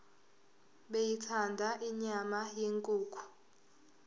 beyithanda inyama yenkukhu